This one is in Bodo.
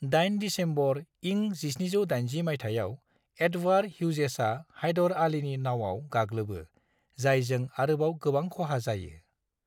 8 दिसेम्बर इं 1780 माइथायाव, एडवार्ड ह्युजेसआ हायदर आलीनि नावआव गाग्लोबो जायजों आरोबाव गोबां खहा जायो।